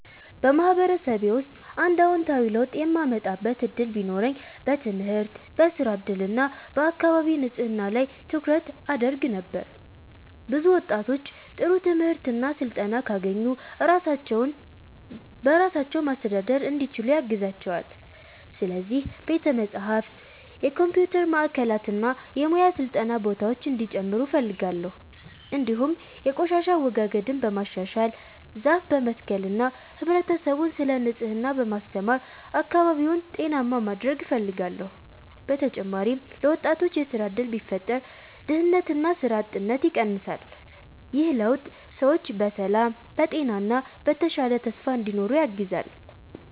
በማህበረሰቤ ውስጥ አንድ አዎንታዊ ለውጥ የማምጣት እድል ቢኖረኝ በትምህርት፣ በሥራ እድል እና በአካባቢ ንጽህና ላይ ትኩረት አደርግ ነበር። ብዙ ወጣቶች ጥሩ ትምህርት እና ስልጠና ካገኙ ራሳቸውን በራሳቸው ማስተዳደር እንዲችሉ ያግዛቸዋል። ስለዚህ ቤተ መጻሕፍት፣ የኮምፒውተር ማዕከላት እና የሙያ ስልጠና ቦታዎች እንዲጨምሩ እፈልጋለሁ። እንዲሁም የቆሻሻ አወጋገድን በማሻሻል፣ ዛፍ በመትከል እና ህብረተሰቡን ስለ ንጽህና በማስተማር አካባቢውን ጤናማ ማድረግ እፈልጋለሁ። በተጨማሪም ለወጣቶች የሥራ እድል ቢፈጠር ድህነትና ሥራ አጥነት ይቀንሳል። ይህ ለውጥ ሰዎች በሰላም፣ በጤና እና በተሻለ ተስፋ እንዲኖሩ ያግዛል።